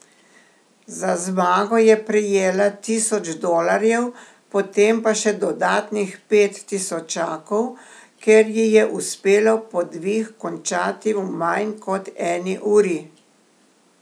Za zmago je prejela tisoč dolarjev, potem pa še dodatnih pet tisočakov, ker ji je uspelo podvig končati v manj kot eni uri.